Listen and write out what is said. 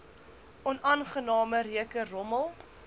onaangename reuke rommel